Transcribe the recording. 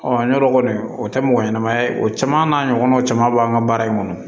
yɔrɔ kɔni o tɛ mɔgɔ ɲɛnɛma ye o caman n'a ɲɔgɔnnaw caman b'an ka baara in kɔnɔ